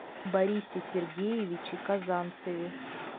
борисе сергеевиче казанцеве